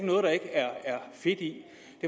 noget der ikke er fedt i